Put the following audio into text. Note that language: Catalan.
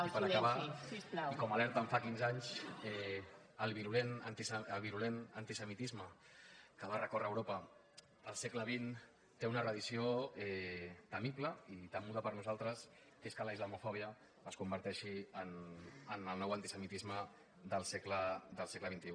i per acabar i com alerten fa quinze anys el virulent antisemitisme que va recórrer europa al segle xx té una reedició temible i temuda per nosaltres que és que la islamofòbia es converteixi en el nou antisemitisme del segle xxi